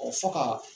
fɔ ka